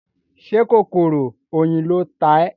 Ṣé kòkòrò oyin ló ta ẹ́?